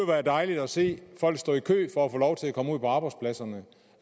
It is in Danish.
være dejligt at se folk stå i kø for at få lov til at komme ud på arbejdspladserne